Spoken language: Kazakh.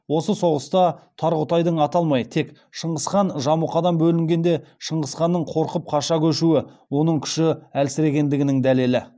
осы соғыста тарғұтайдың аталмай тек шыңғысхан жамұқадан бөлінгенде шыңғысханнан қорқып қаша көшуі оның күші әлсірегенінің дәлелі